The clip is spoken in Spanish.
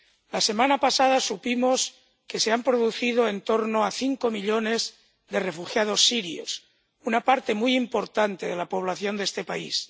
La semana pasada supimos que se han producido en torno a cinco millones de refugiados sirios, una parte muy importante de la población de este país.